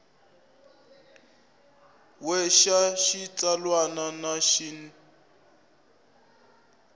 we xa xitsalwana na xin